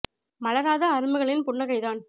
மலராத அரும்புகளின் புன்ன கைதான்